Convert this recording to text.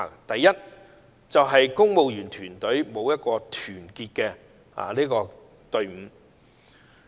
第一，公務員團隊欠缺團隊精神。